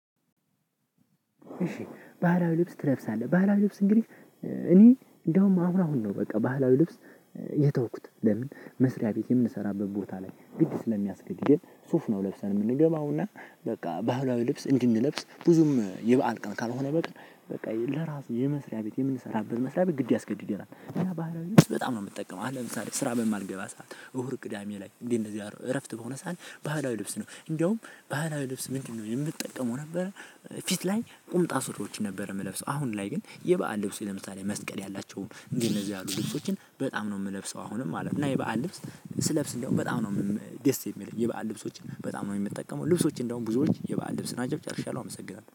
እሺ ባህላዊ ልብስ ትለብሳለህ? ባህላዊ ልብስ እንግዲህ እኔ እንደውም አሁን አሁን ነው በቃ ባህላዊ ልብስ የተውኩት። ለምን መስሪያ ቤት የምንሰራበት ቦታ ላይ ግድ ስለሚያስገድደን ሱፍ ነው ለብሰን የምንገባው። እና በቃ ባህላዊ ልብስ እንድንለብስ ብዙም የበአል ቀን ካልሆነ በቃ በቃ ለራስ የመስሪያ ቤት የምንሰራበት መስሪያ ቤት ግድ ያስገድደናል። በጣም ነው የምጠቀመው። አሁን ለምሳሌ ስራ በማልገባ ሰዓት እሁር ቅዳሜ ላይ እንዴት እንደዚህ አድርጎ እረፍት በሆነ ሰዓት ባህላዊ ልብስ ነው። እንዲያውም ባህላዊ ልብስ ምንድነው የምትጠቀመው ነበር ፊት ላይ ቁምጣ ሱሪዎችን ነበር የምለብሰው። አሁን ላይ ግን የበአል ልብስ ለምሳሌ መስቀል ያላቸውን እንደነዚህ ያሉ ልብሶችን በጣም ነው የምለብሰው አሁንም ማለት ነው። እና የበአን ልብስ ስለብስ እንደውም በጣም ነው ደስ የሚለኝ። የበአል ልብሶችን በጣም ነው የሚጠቀመው። ልብሶች እንደውም ብዙዎች የበአል ልብስ ናቸው። ጨርሻለሁ አመሰግናለሁ።